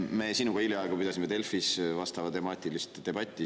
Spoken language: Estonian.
Me sinuga hiljaaegu pidasime Delfis vastaval teemal debatti.